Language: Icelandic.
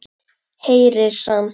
Heyrir samt.